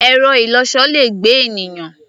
Ẹ̀rọ-ìlọsọ le gbé ènìyàn.